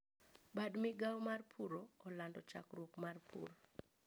Bad migao mar puro olando chakruok mar pur